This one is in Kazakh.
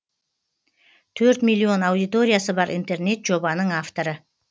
төрт миллион аудиториясы бар интернет жобаның авторы